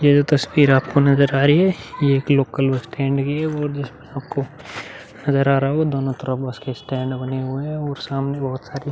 ये जो तस्वीर आपको नजर आ रही है ये एक लोकल बस स्टैन्ड की है और जो आपको नजर आ रहा होगा दोनों तरफ बस के स्टैन्ड बने हुए हैं और सामने बहोत सारी --